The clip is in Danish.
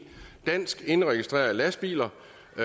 dansk indregistrerede lastvogne